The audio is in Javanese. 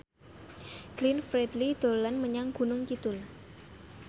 Glenn Fredly dolan menyang Gunung Kidul